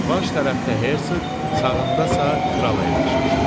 Baş tərəfdə Herseq, sağındasa Kral əyləşmişdi.